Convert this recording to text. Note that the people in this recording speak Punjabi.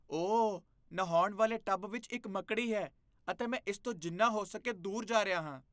ਓ, ਨਹਾਉਣ ਵਾਲੇ ਟੱਬ ਵਿੱਚ ਇੱਕ ਮੱਕੜੀ ਹੈ ਅਤੇ ਮੈਂ ਇਸ ਤੋਂ ਜਿੰਨਾ ਹੋ ਸਕੇ ਦੂਰ ਜਾ ਰਿਹਾ ਹਾਂ।